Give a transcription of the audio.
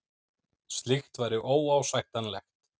Slíkt væri óásættanlegt